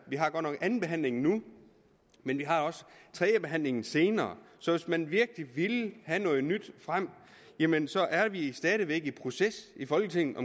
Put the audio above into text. godt nok andenbehandlingen nu men vi har også tredjebehandlingen senere så hvis man virkelig vil have noget nyt frem jamen så er vi stadig i proces i folketinget